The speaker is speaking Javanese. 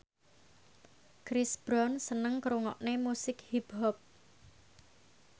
Chris Brown seneng ngrungokne musik hip hop